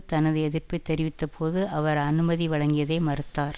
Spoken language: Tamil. தனது எதிர்ப்பை தெரிவித்தபோது அவர் அனுமதி வழங்கியதை மறுத்தார்